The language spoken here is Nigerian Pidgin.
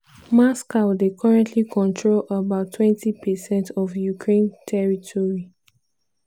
moscow dey currently control about 20 percent of ukraine territory.